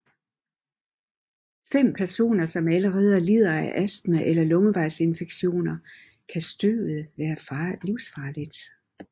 For personer som allerede lider af astma eller luftvejsinfektioner kan støvet være livsfarligt